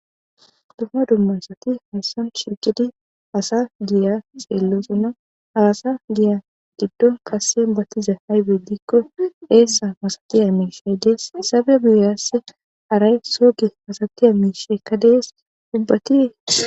Dumma dummasati hayssan shigidi asa giya xeellosuna asa giya giddon kassen battiza haybe dikko eessa masatiya miisheydees saba biyaass aray soogi masatiya miisheykka dees dubbati.